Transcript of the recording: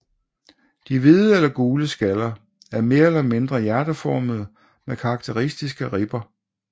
De hvide eller gule skaller er mere eller mindre hjerteformede med karakteristiske ribber